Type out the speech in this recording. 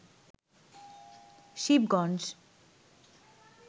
Shibganj